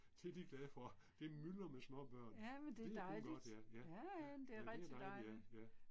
Det de glade for, det myldrer med småbørn, det er kun godt ja, ja, ja. Ja det er dejligt ja, ja